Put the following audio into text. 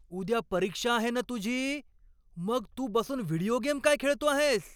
उद्या परीक्षा आहे ना तुझी, मग तू बसून व्हिडिओ गेम काय खेळतो आहेस?